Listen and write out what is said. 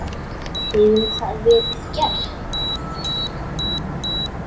Hefur það verið gert?